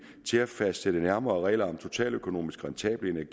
til at fastsætte de nærmere regler om totaløkonomisk rentable